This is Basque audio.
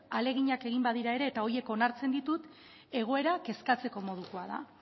ahalegina egin badira ere eta horiek onartzen ditut egoera kezkatzeko modukoa da